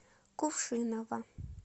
кувшиново